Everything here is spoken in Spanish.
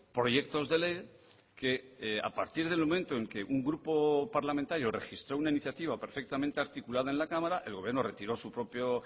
proyectos de ley que a partir del momento en que un grupo parlamentario registró una iniciativa perfectamente articulada en la cámara el gobierno retiró su propio